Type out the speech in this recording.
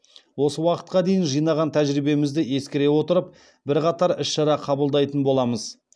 осы уақытқа дейін жинаған тәжірибемізді ескере отырып бірқатар іс шара қабылдайтын боламыз